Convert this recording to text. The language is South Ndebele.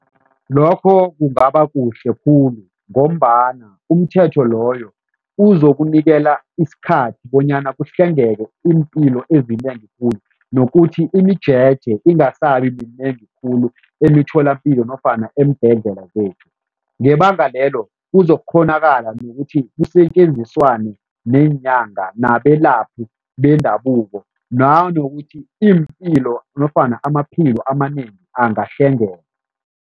Lokho kungabakuhle khulu ngombana umthetho loyo uzokunikela isikhathi bonyana kuhlengeke iimpilo ezinengi khulu nokuthi imijeje ingasabi minengi khulu emitholapilo nofana eembhedlela zethu. Ngebanga lelo, kuzokukghonakala nokuthi kusetjenziswane neenyanga nabelaphi bendabuko nanokuthi iimpilo nofana amaphilo amanengi angahlengeka.